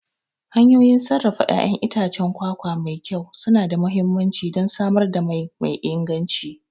Hanyoyin sarrafa ƴaƴan itacen kwakwa mai kyau suna da mahimmanci don samar da mai me inganci.